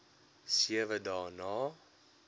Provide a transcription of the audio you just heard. sewe dae na